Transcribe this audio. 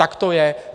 Tak to je.